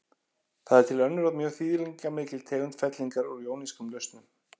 Það er til önnur og mjög þýðingarmikil tegund fellingar úr jónískum lausnum.